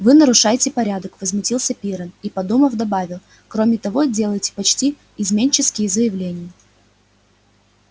вы нарушаете порядок возмутился пиренн и подумав добавил кроме того делаете почти изменнические заявления